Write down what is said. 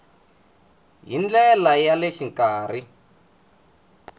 hi ndlela ya le xikarhi